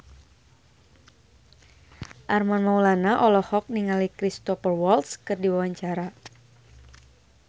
Armand Maulana olohok ningali Cristhoper Waltz keur diwawancara